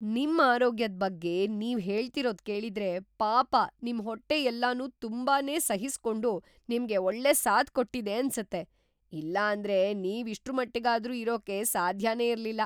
ನಿಮ್ ಆರೋಗ್ಯದ್‌ ಬಗ್ಗೆ ನೀವ್‌ ಹೇಳ್ತಿರೋದ್‌ ಕೇಳಿದ್ರೆ ಪಾಪ ನಿಮ್‌ ಹೊಟ್ಟೆ ಎಲ್ಲನೂ ತುಂಬಾನೇ ಸಹಿಸ್ಕೊಂಡು ನಿಮ್ಗೆ ಒಳ್ಳೆ ಸಾಥ್‌ ಕೊಟ್ಟಿದೆ ಅನ್ಸತ್ತೆ, ಇಲ್ಲಾಂದ್ರೆ ನೀವ್‌ ಇಷ್ಟ್ರಮಟ್ಟಿಗಾದ್ರೂ ಇರೋಕೆ ಸಾಧ್ಯನೇ ಇರ್ಲಿಲ್ಲ!